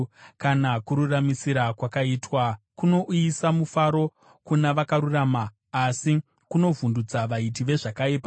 Kana kururamisira kwaitwa, kunouyisa mufaro kuna vakarurama, asi kunovhundutsa vaiti vezvakaipa.